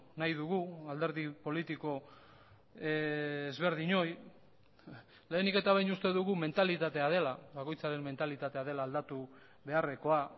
nahi dugu alderdi politiko ezberdinoi leheniketa behin uste dugu mentalitatea dela bakoitzaren mentalitatea dela aldatu beharrekoa